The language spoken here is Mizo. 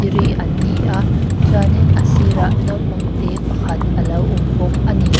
ri an ni a chuanin a sir ah naupang te pakhat alo awm bawk a ni.